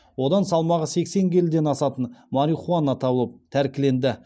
одан салмағы сексен келіден асатын марихуана табылып тәркіленді